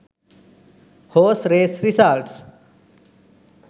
horse race results